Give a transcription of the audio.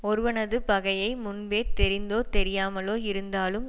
ஒருவனது பகையை முன்பே தெரிந்தோ தெரியாமலோ இருந்தாலும்